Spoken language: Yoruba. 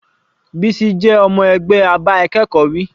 Bisi jẹ́ ọmọ ẹgbẹ́ a bá akẹ́kọ̀ọ́ wí.